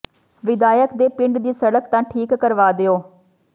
ਵਿਧਾਇਕ ਦੇ ਪਿੰਡ ਦੀ ਸੜਕ ਤਾਂ ਠੀਕ ਕਰਵਾ ਦਿਓ